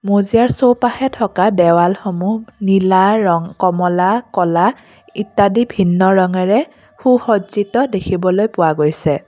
মজিয়াৰ চৌপাশে থকা দেৱালসমূহ নীলা কমলা ক'লা ইত্যাদি ভিন্ন ৰঙেৰে সুসজিত্য দেখিবলৈ পোৱা গৈছে।